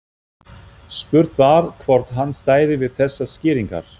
Spurt var, hvort hann stæði við þessar skýringar?